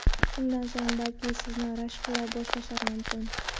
Shundan so‘ng, balki sizni rashk qila boshlashlari mumkin.